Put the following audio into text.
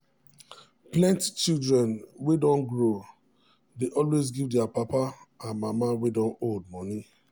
plenty children wey don grow dey always give their mama and papa wey don old money